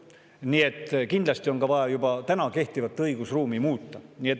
Nii et kindlasti on ka vaja täna kehtivat õigusruumi muuta.